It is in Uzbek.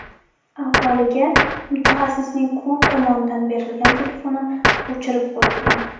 Avvaliga mutaxassisning klub tomonidan berilgan telefoni o‘chirib qo‘yilgan.